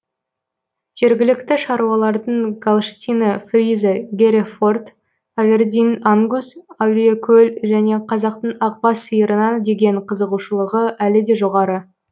жергілікті шаруалардың галштина фриза гере форд авердин ангус әулиекөл және қазақтың ақбас сиырына деген қызығушылығы әлі де жоғары